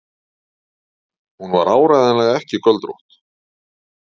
Hún var áreiðanlega ekki göldrótt.